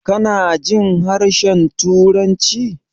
Kanajin harshen turanci?